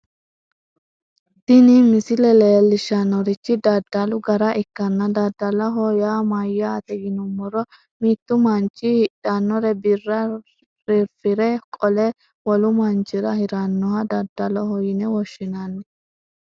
tini misile leellishshannorichi daddalu gara ikkanna daddaloho yaa mayyaate yinummoro mittu manchi hidhinore birra rirfire qole wolu manchira hirannoha daddaloho yine woshshinanni.